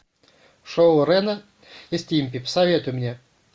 шоу рена и стимпи посоветуй мне